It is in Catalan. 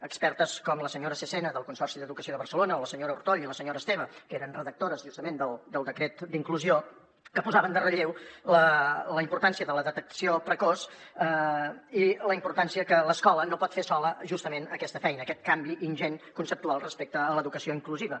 expertes com la senyora cesena del consorci d’educació de barcelona o la senyora ortoll i la senyora esteve que eren redactores justament del decret d’inclusió que posaven en relleu la importància de la detecció precoç i la importància que l’escola no pot fer sola justament aquesta feina aquest canvi ingent conceptual respecte a l’educació inclusiva